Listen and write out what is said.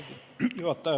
Austatud juhataja!